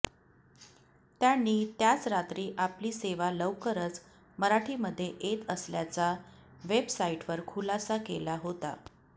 त्यांनी त्याच रात्री आपली सेवा लवकरच मराठी मध्ये येत असल्याचा वेबसाईटवर खुलासा केला होता